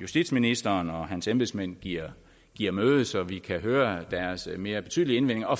justitsministeren og hans embedsmænd giver giver møde så vi kan høre deres mere betydelige indvendinger og